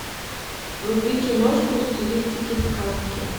вруби киношку в стилистике сказки